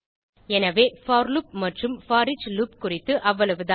எனவே for loop மற்றும் foreach loop குறித்து அவ்வளவுதான்